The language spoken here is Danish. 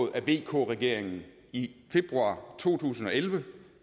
af vk regeringen i februar to tusind og elleve